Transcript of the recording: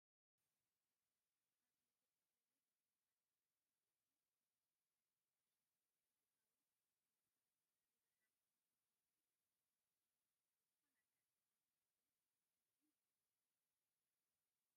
ኣዝዩ ደስ ዝብል በዓል በዓቲ ከውሒ፡፡ እዚ ሶፍ ዑመር ዋሻ ዝበሃል ተፈጥሯዊ መስሕብ ብዙሓት ዝብህግዎ እዩ፡፡ ኣነ እውን ብዝኾነ ኣጋጣሚ ከይደ ክሪአ ይምነ፡፡